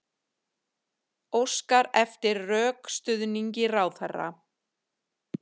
Óskar eftir rökstuðningi ráðherra